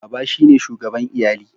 Baba shine shugaban lyalli.